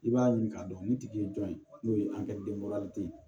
I b'a ɲini k'a dɔn ni tigi ye jɔn ye n'o ye ye